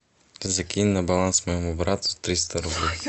закинь на баланс моему брату триста рублей